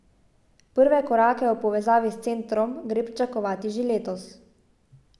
Prve korake v povezavi s centrom gre pričakovati že letos.